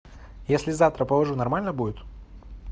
если завтра положу нормально будет